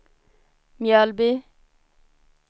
Mjölby